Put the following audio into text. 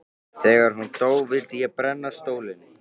Þegar hún dó vildi ég brenna stólinn.